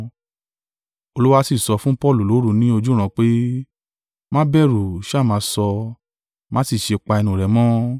Olúwa sì sọ fún Paulu lóru ni ojúran pé, “Má bẹ̀rù, ṣá máa sọ, má sì ṣe pa ẹnu rẹ̀ mọ́.